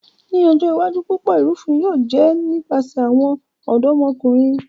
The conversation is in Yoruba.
Ni ojo iwaju, Pupọ irufin yóò jẹ nipasẹ awọn ọdọmọkunrin.